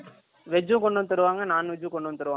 veg கொண்டு வந்து தருவாங்க Non வெஜ் கொண்டு வந்து தருவாங்க